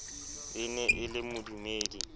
e ne e le modumedi